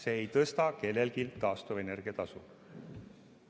See ei tõsta kellelgi taastuvenergia tasu.